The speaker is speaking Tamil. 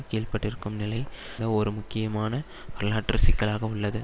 கீழ்ப்பட்டிருக்கும் நிலை ஒர் முக்கியமான வரலாற்று சிக்கலாக உள்ளது